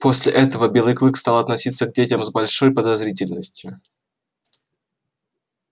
после этого белый клык стал относиться к детям с большой подозрительностью